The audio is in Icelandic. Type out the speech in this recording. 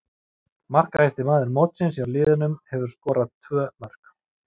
Markahæsti maður mótsins hjá liðunum hefur skorað tvö mörk.